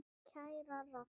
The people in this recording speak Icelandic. Kæra Ragga.